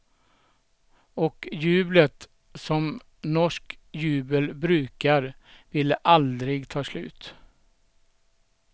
Och jublet, som norskt jubel brukar, ville aldrig ta slut.